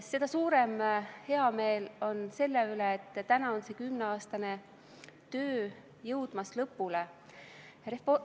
Seda suurem heameel on selle üle, et täna on see kümneaastane töö jõudmas lõpule.